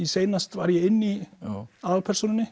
seinast var ég inn í aðalpersónunni